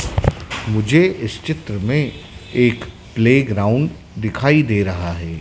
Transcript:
मुझे इस चित्र में एक प्ले ग्राउंड दिखाई दे रहा है।